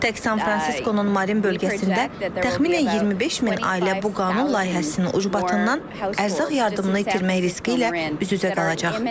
Tək San Fransiskonun Marin bölgəsində təxminən 25 min ailə bu qanun layihəsinin ucbatından ərzaq yardımını itirmək riski ilə üz-üzə qalacaq.